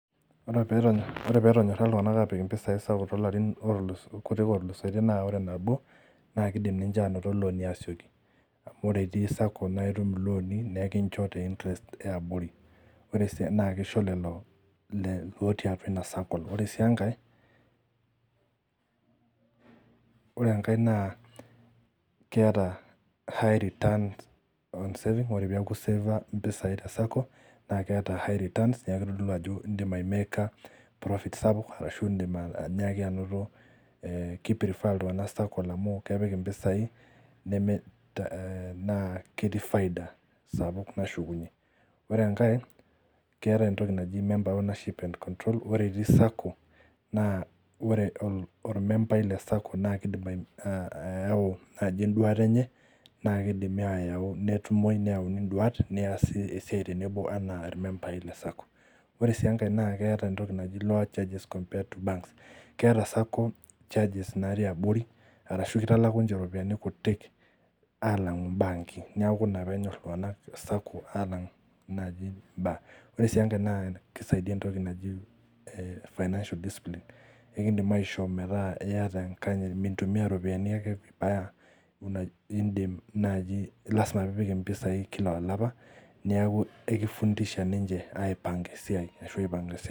Wore pee etonyorra iltunganak aapik impisai Sacco toolarin kutik ootuusotie naa wore nabo naa kiidim ninche ainoto looni aasioki. Amu wore itii sacco naa itum ilooni, naa ekincho te interest eabori. Naa kisho lelo lootii atua ina sacco, wore sii enkae, wore enkae naa keeta high returns on savings wore pee eaku iseefa impisai te sacco, naa keeta high returns neeku kitodolu ajo iindim aimeeka profit sapuk ashu iindim ainyiaki ainoto ki prefer iltunganak sacco amu ketum impisai, nemiri naa ketii faida sapuk nashukunyie. Wore enkae, keeta entoki naji member ownership and control, wore itii sacco, naa wore ormembai le sacco naa kiidim ayau naaji enduata enye, naa kidimi ayau netumoi neyauni induat neesi esiai tenebo enaa irmembai le sacco. Wore sii enkae naa keeta entoki naji lower charges compared to bank. Keeta sacco charges natii abori, arashu kitalaku ninche iropiyani kutik aalangu ibaanki. Neeku ina peenyor iltunganak sacco aalang naaji bank. Wore sii enkae naa kisaidia entoki naji financial displine , eekindim aishoo meeta iata enkanyit mintumia iropiyani ake vibaya. Iindim naji lasima pee ipik impisai kila olapa, neeku ekifundisha ninche aipanga esiai ashu aipanga